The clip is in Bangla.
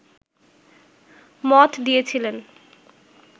মত দিয়েছিলেন